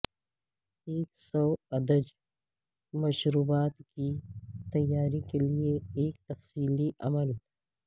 ایک سوادج مشروبات کی تیاری کے لئے ایک تفصیلی عمل